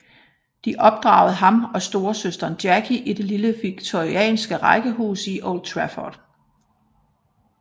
De opdragede ham og storesøsteren Jackie i et lille victoriansk rækkehus i Old Trafford